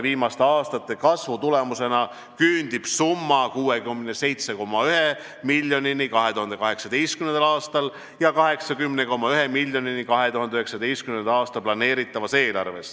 Viimaste aastate kasvu tulemusena küündis summa 67,1 miljonini 2018. aastal ja 2019. aasta planeeritavas eelarves küündib see 80,1 miljonini.